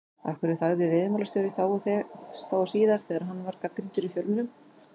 Af hverju þagði veiðimálastjóri, þá og síðar, þegar hann var gagnrýndur í fjölmiðlum?